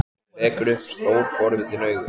Hún rekur upp stór, forvitin augu.